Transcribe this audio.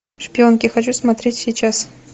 шпионки хочу смотреть сейчас